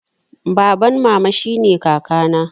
Baban mama shine kaka na